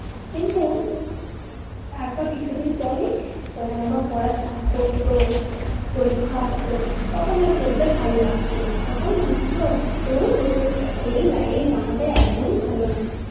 কিন্তু তারপর কিছুদিন পরেই যখন আবার পড়ার চাপ পড়তো পরীক্ষা আসতো তখন আর পড়তে ভালো লাগতো না তখন মনে হতো দূর দূর এই life আমাদের একদম ভালো না